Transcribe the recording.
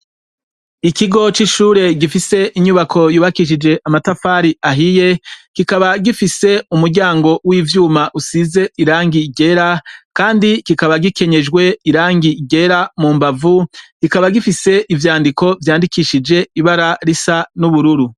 Ikigo c'ishure gifise inyubako yubakishije amatafari ahiye kikaba gifise umuryango w'ivyuma usize irangi ryera, kandi kikaba gikenyejwe irangi ryera mu mbavu kikaba gifise ivyandiko vyandikishije ibara risa n'ubururu.